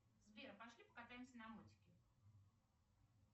сбер пошли покатаемся на мотике